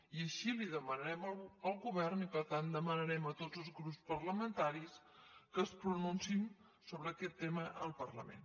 i així demanarem al govern i per tant demanarem a tots els grups parlamentaris que es pronunciïn sobre aquest tema al parlament